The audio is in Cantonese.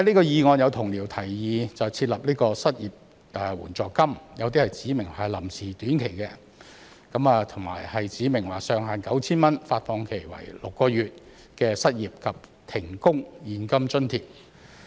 有同僚就議案提議設立失業援助金，有些指明這是臨時的短期措施，亦有指明上限是 9,000 元、發放期6個月的失業及停工現金津貼。